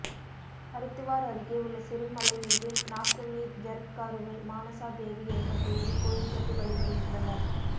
அரித்துவார் அருகே உள்ள சிறு மலை மீது நாக்கன்னி ஜரத்காருவை மானசா தேவி என்ற பெயரில் கோயில் கட்டி வழிபடுகின்றனர்